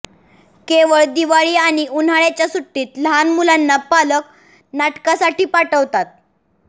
केवळ दिवाळी आणि उन्हाळ्याच्या सुट्टीत लहान मुलांना पालक नाटकासाठी पाठवतात